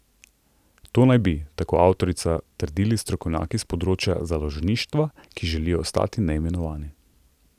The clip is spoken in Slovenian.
To naj bi, tako avtorica, trdili strokovnjaki s področja založništva, ki želijo ostati neimenovani.